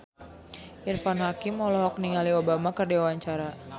Irfan Hakim olohok ningali Obama keur diwawancara